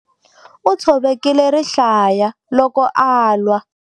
U tshovekile rihlaya loko a lwa.